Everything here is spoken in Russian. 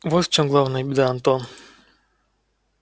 вот в чём главная беда антон